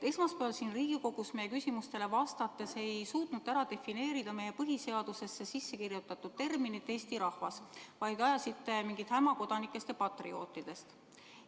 Esmaspäeval siin Riigikogus meie küsimustele vastates ei suutnud te defineerida meie põhiseadusesse sisse kirjutatud terminit "eesti rahvas", vaid ajasite mingit häma kodanikest ja patriootidest.